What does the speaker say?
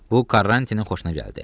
Bu Karrantinin xoşuna gəldi.